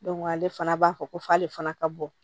ale fana b'a fɔ ko f'ale fana ka bɔ